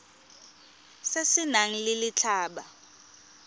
se se nang le letlha